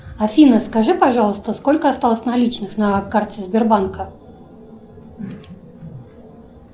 афина скажи пожалуйста сколько осталось наличных на карте сбербанка